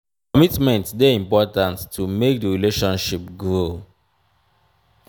commitment de important to make di relationship grow